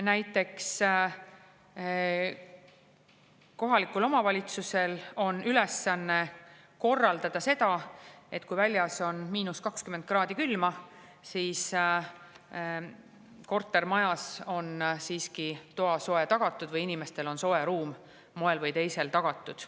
Näiteks kohalikul omavalitsusel on ülesanne korraldada seda, et kui väljas on 20 kraadi külma, siis kortermajas on siiski toasoe olemas või inimestel on soe ruum moel või teisel tagatud.